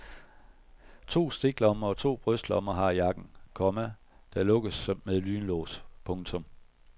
To stiklommer og to brystlommer har jakken, komma der lukkes med lynlås. punktum